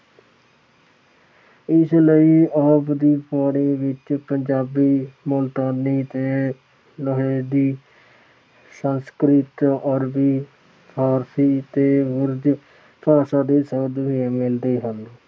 ਇਸ ਲਈ ਆਪ ਦੀ ਬਾਣੀ ਵਿੱਚ ਪੰਜਾਬੀ, ਮੁਲਤਾਨੀ ਤੇ ਸੰਸਕ੍ਰਿਤ, ਅਰਬੀ, ਫਾਰਸੀ ਤੇ ਉਰਦੂ ਭਾਸ਼ਾ ਦੇ ਸ਼ਬਦ ਵੀ ਮਿਲਦੇ ਹਨ।